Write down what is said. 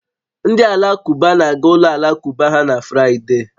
Ndị Alakụba na-aga ụlọ alakụba ha na Fraịde